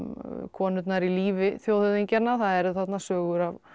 konurnar í lífi þjóðhöfðingjanna það eru þarna sögur